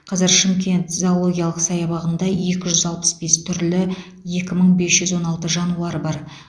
қазір шымкент зоологиялық саябағында екі жүз алпыс бес түрлі екі мың бес жүз он алты жануар бар